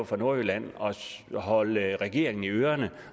fra nordjylland at holde regeringen i ørerne